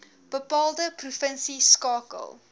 bepaalde provinsie skakel